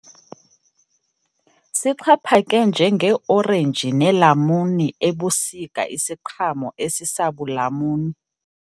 Sixhaphake njengeeorenji neelamuni ebusika isiqhamo esisabulamuni.